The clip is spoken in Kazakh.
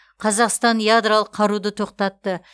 қазақстан ядролық қаруды тоқтатты